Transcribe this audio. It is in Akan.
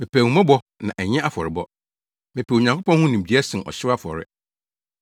Mepɛ ahummɔbɔ na ɛnyɛ afɔrebɔ, mepɛ Onyankopɔn ho nimdeɛ sen ɔhyew afɔre.